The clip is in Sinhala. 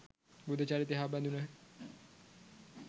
බුද්ධ චරිතය හා බැඳුණ